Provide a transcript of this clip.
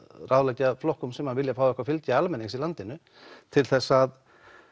ráðleggja flokkum sem vilja fá eitthvað fylgi almennings í landinu til þess að